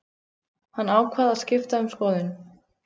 Hann ákvað að skipta um skoðun.